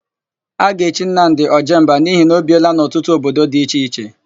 A ga-echi Nnamdị, Ojemba n'ihi na o biela n'ọtụtụ obodo dị iche iche.